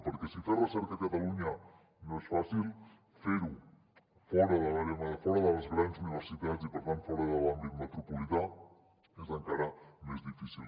perquè si fer recerca a catalunya no és fàcil fer ho fora de les grans universitats i per tant fora de l’àmbit metropolità és encara més difícil